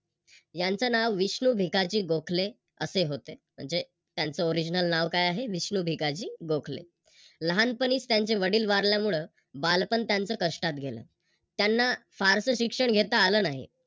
यांच नाव विष्णू भिकाजी गोखले असे होते. म्हणजे त्यांच Original नाव काय आहे विष्णू भिकाजी गोखले लहानपणीच त्यांचे वडील वारल्यामुळे बालपण त्यांच कष्टात गेल त्यांना फारस शिक्षण घेता आले नाही.